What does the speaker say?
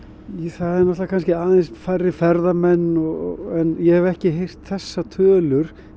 það eru náttúrulega kannski aðeins færri ferðamenn en ég hef ekki heyrt þessar tölur